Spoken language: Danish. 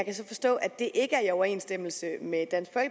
kan så forstå at det ikke er i overensstemmelse med dansk